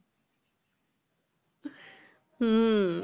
হম